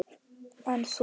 En þú?